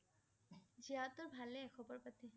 জীয়া সতৰ ভালে খবৰ পাতি।